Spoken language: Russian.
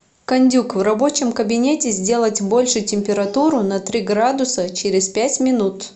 кондюк в рабочем кабинете сделать больше температуру на три градуса через пять минут